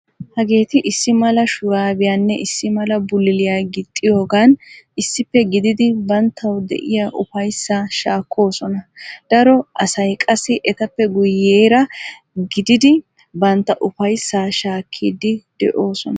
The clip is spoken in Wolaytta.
Hageeti issi mala shuraabiyaanne issi mala bulaaliya gixxiyogan issippe gididi banttawu de'iya ufayssaa shaakkoosona. Daro asay qassi etappe guyyeera gididi bantta ufayssaa shaakkiddi de'oosona.